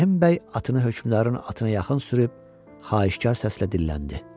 Rəhim bəy atını hökmdarın atına yaxın sürüb, xahişkar səslə dilləndi.